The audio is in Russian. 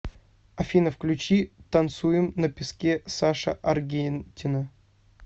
афина включи танцуем на песке саша аргентина